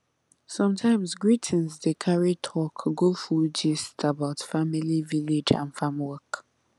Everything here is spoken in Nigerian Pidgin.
sometimes greeting dey carry talk go full gist about family village and farm work